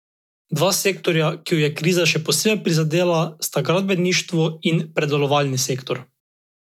Dva sektorja, ki ju je kriza še posebej prizadela, sta gradbeništvo in predelovalni sektor.